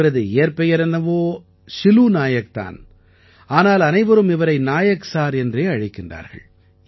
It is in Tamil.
இவரது இயற்பெயர் என்னவோ சிலூ நாயக் தான் ஆனால் அனைவரும் இவரை நாயக் சார் என்றே அழைக்கின்றார்கள்